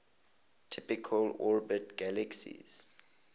typically orbit galaxies